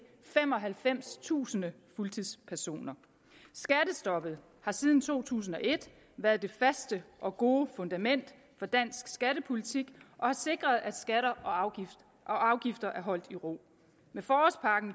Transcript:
femoghalvfemstusind fuldtidspersoner skattestoppet har siden to tusind og et været det faste og gode fundament for dansk skattepolitik og har sikret at skatter og afgifter er holdt i ro med forårspakken